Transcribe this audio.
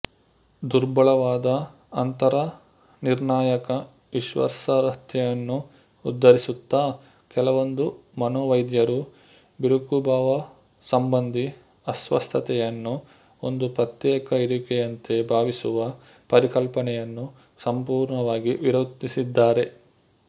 ದುರ್ಬಲವಾದ ಅಂತರನಿರ್ಣಾಯಕ ವಿಶ್ವಾಸಾರ್ಹತೆಯನ್ನು ಉದಾಹರಿಸುತ್ತಾ ಕೆಲವೊಂದು ಮನೋವೈದ್ಯರು ಬಿರುಕುಭಾವಸಂಬಂಧಿ ಅಸ್ವಸ್ಥತೆಯನ್ನು ಒಂದು ಪ್ರತ್ಯೇಕ ಇರುವಿಕೆಯಂತೆ ಭಾವಿಸುವ ಪರಿಕಲ್ಪನೆಯನ್ನು ಸಂಪೂರ್ಣವಾಗಿ ವಿರೋಧಿಸಿದ್ದಾರೆ